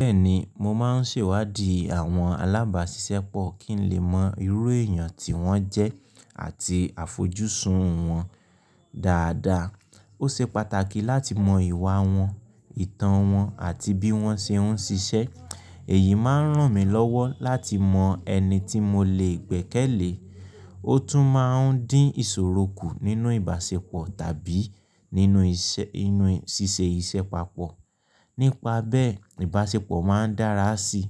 Bẹ́ẹ̀ni, mo máa ń ṣèwádìí àwọn alábàáṣiṣẹ́pọ̀ kí n lè mọ irú èèyàn tí wọ́n jẹ́ àti àfojúsùn wọn dáadáa. Ó ṣe pàtàkì láti mọ ìwà wọn, ìtàn wọn àti bí wọ́n ṣe ń ṣiṣẹ́. Èyí máa ń ràn mí lọ́wọ́ láti mọ ẹni tí mo lè gbẹ́kẹ̀lé, ó tún máa ń dín ìṣòro kù nínú ìbáṣepọ̀ tàbí nínú iṣẹ́, nínú ṣíṣe iṣẹ́ papọ̀. Nípa bẹ́ẹ̀, ìbáṣepọ̀ máa ń dára síi.